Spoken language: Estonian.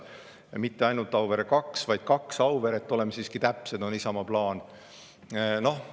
Ja mitte ainult Auvere 2, vaid kaks Auveret, oleme siiski täpsed, on Isamaa plaan.